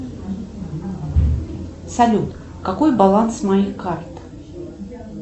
салют какой баланс моей карты